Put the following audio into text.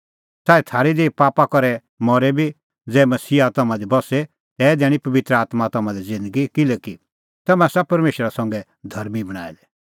च़ाऐ थारी देही पापा करै मरे बी ज़ै मसीहा तम्हां दी बस्से तै दैणीं पबित्र आत्मां तम्हां लै ज़िन्दगी किल्हैकि तम्हैं आसा परमेशरा संघै धर्मीं बणांऐं दै